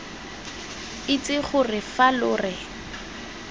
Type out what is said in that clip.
itse gore fa lo re